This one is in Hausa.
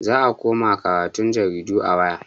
Za a koma karatun jaridu a waya.